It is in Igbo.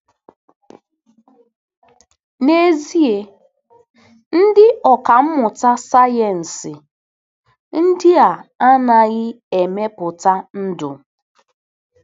N'ezie, ndị ọkà mmụta sayensị ndị a adịghị emepụta ndụ.